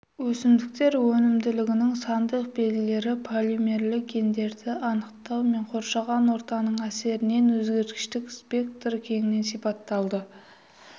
өсімдіктер өнімділігінің сандық белгілері полимерлі гендерін анықтау мен қоршаған ортаның әсерінен өзгергіштік спектрі кеңінен сипатталады